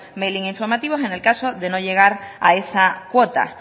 mailing informativos en el caso de no llegar a esa cuota